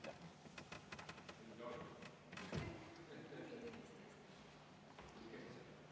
Aitäh!